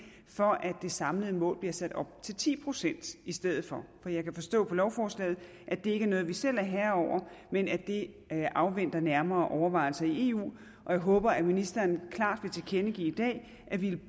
for at det samlede mål bliver sat op til ti procent i stedet for for jeg kan forstå på lovforslaget at det ikke er noget vi selv er herre over men at det afventer nærmere overvejelse i eu og jeg håber at ministeren klart vil tilkendegive i dag at ville